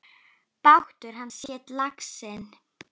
Bátur hans hét Laxinn.